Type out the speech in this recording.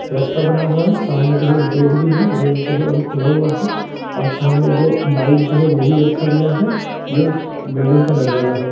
रस्ता बना हुआ है सामने जो है गेट भी है गेट जो है अभी खुला हुआ है और सामने दो बाइक जो है वो भी रखा गया है ये एक बिल्डिंग का नजारा है।